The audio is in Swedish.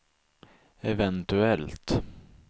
eventuellt